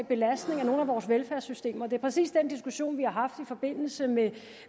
belastning af nogle af vores velfærdssystemer det er præcis den diskussion vi har haft i forbindelse med